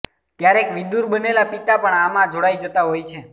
ક્યારેક વિધુર બનેલા પિતા પણ આમાં જોડાઈ જતા હોય છે